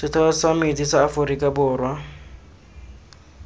setheo sa metsi sa aforika